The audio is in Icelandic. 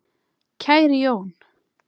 Kæri Jón.